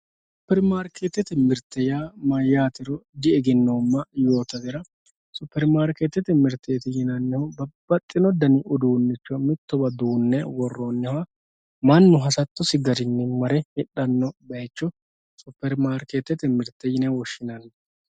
superimarikeettete mirte yaa mayyatero diegenoomma yoottatera superimarikeettete mirte yinannihu babbaxino danni uduunnicho mittowa duunne worronniha mannu hasattosinni mare hidhannoha superimarikeettete mirte yine woshshinanni